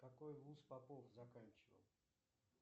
какой вуз попов заканчивал